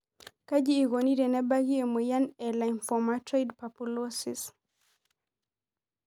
Kaji eikoni tenebaki emoyian e lymphomatoid papulosis?